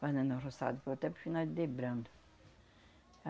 Fazendo arroçado, foi até para o final de.